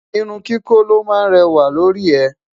irún kíkọ ló má réwà lórí e